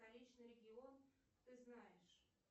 столичный регион ты знаешь